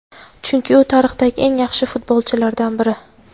chunki u tarixdagi eng yaxshi futbolchilardan biri.